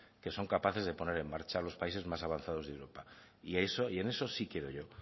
que son capaces de poner en marcha los países más avanzados de europa y en eso sí quiero yo